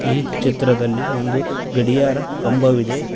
ಈ ಚಿತ್ರದಲ್ಲಿ ಒಂದು ಗಡಿಯಾರ ಕಂಬವಿದೆ.